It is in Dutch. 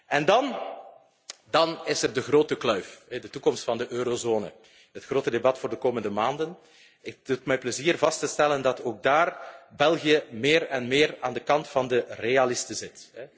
En dan is er de grote kluif, de toekomst van de eurozone. Het grote debat voor de komende maanden. Het doet mij plezier vast te stellen dat ook daar België meer en meer aan de kant van de realisten